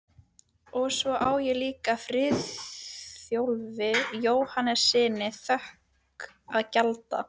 Og svo á ég líka Friðþjófi Jóhannessyni þökk að gjalda